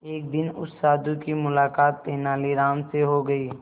एक दिन उस साधु की मुलाकात तेनालीराम से हो गई